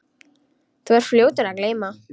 Þú ert fljótur að gleyma.